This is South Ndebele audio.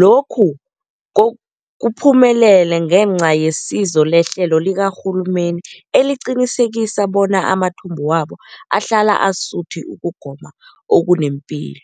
Lokhu kuphumelele ngenca yesizo lehlelo likarhulumende eliqinisekisa bona amathumbu wabo ahlala asuthi ukugoma okunepilo.